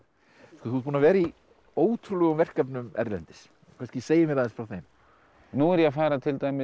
þú ert búinn að vera í ótrúlegum verkefnum erlendis þú kannski segir mér aðeins frá þeim nú er ég að fara til dæmis